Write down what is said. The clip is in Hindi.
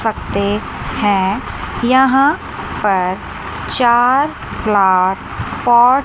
पत्ते हैं यहां पर चार फ्लावर पॉट --